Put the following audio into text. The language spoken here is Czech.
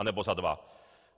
Anebo za dva.